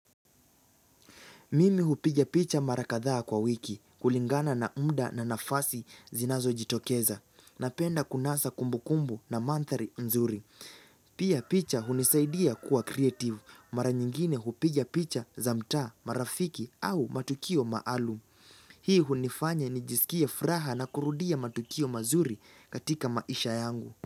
Mimi hupiga picha mara kadhaa kwa wiki, kulingana na mda na nafasi zinazo jitokeza, napenda kunasa kumbu kumbu na manthari nzuri. Pia, picha hunisaidia kuwa kreativu, mara nyingine hupiga picha za mtaa, marafiki au matukio maalum. Hii hunifanya nijiskie furaha na kurudia matukio mazuri katika maisha yangu.